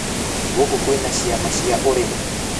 Gũkũ kwĩna ciama cia ũrĩmi?